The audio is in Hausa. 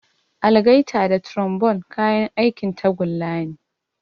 Algaita da trombone kayan aikin tagulla ne.